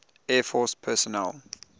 air force personnel